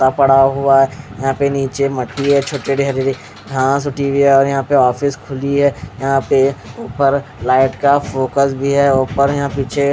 पड़ा हुआ है यहाँ पे निचे मट्टी है यहाँ पे ऑफिस खुली हुयी है यह पे ऊपर लाइट का फोकस भी है ऊपर यहाँ पे --